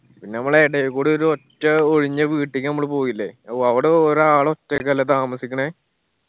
പിന്ന ഞമ്മളെ എടേയിൽ കൂടി ഒരു ഒറ്റ ഒഴിഞ്ഞ വീട്ടിക്ക് ഞമ്മള് പോയില്ലേ അവ് അവടെ ഒരാൾ ഒറ്റക്ക് അല്ലെ താമസിക്കണേ